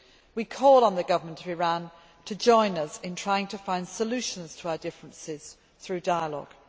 We call on the Government of Iran to join us in trying to find solutions to our differences through dialogue.